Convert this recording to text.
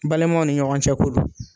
Balimaw ni ɲɔgɔn cɛ ko don.